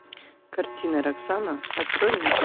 картина роксана открой мне